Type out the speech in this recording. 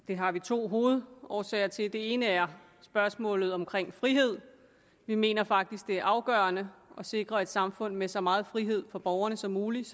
det har vi to hovedårsager til den ene er spørgsmålet om frihed vi mener faktisk at det er afgørende at sikre et samfund med så meget frihed for borgerne som muligt